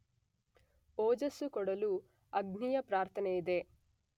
ಓಜಸ್ಸು ಕೊಡಲು ಅಗ್ನಿಯ ಪ್ರಾರ್ಥನೆಯಿದೆ.